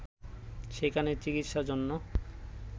সেখানে চিকিৎসার জন্য